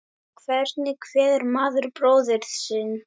Hvernig kveður maður bróður sinn?